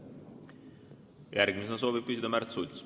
Järgmisena soovib küsida Märt Sults.